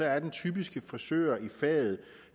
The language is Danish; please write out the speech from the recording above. er den typiske frisør i faget